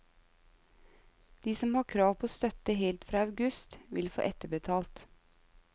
De som har krav på støtte helt fra august, vil få etterbetalt.